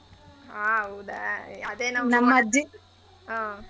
ಹಾ ಹೌದ ಹ್ಮ್.